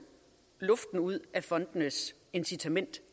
luften ud af fondenes incitament